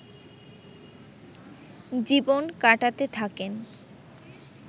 জীবন কাটাতে থাকেন